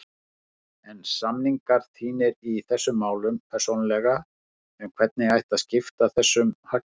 Heimir: En samningar þínir í þessum málum persónulega um hvernig ætti að skipta þessum hagnaði?